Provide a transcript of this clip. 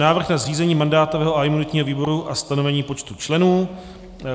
Návrh na zřízení mandátového a imunitního výboru a stanovení počtu členů